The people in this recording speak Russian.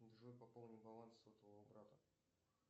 джой пополни баланс сотового брата